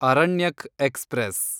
Aranyak express